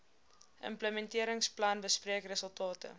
implementeringsplan bespreek resultate